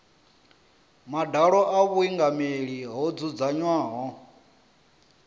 madalo a vhuingameli ho dzudzanywaho